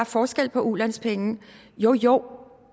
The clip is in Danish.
forskel på ulandspenge jo jo